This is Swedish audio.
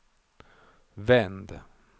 vänd